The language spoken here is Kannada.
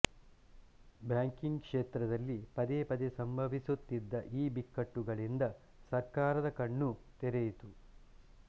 ಬ್ಯಾಂಕಿಂಗ್ ಕ್ಷೇತ್ರದಲ್ಲಿ ಪದೇ ಪದೇ ಸಂಭವಿಸುತ್ತಿದ್ದ ಈ ಬಿಕ್ಕಟ್ಟುಗಳಿಂದ ಸರ್ಕಾರದ ಕಣ್ಣೂ ತೆರೆಯಿತು